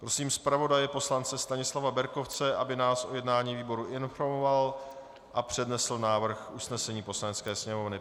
Prosím zpravodaje poslance Stanislava Berkovce, aby nás o jednání výboru informoval a přednesl návrh usnesení Poslanecké sněmovny.